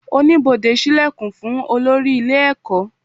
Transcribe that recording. Oníbodè ṣí ìlẹ̀kùn fún olórí ilé ẹ̀kọ́